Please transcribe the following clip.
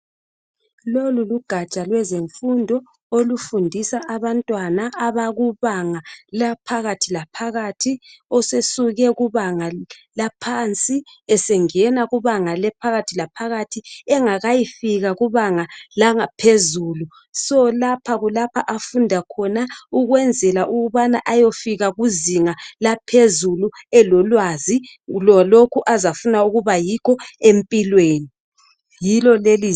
Lolu lugatsha lwezemfundo olufundisa abantwana abakubanga laphakathi laphakathi osesuke kubanga laphansi esengena kubanga laphakathi laphakathi engakayifika kubanga langaphezulu so lapha kulapha afunda khona ukwenzela ukuba ayefika kuzinga laphezulu elolwazi lalokho azafuna ukuba yikho empilweni yilo leli.